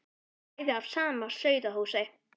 Við erum bæði af sama sauðahúsi.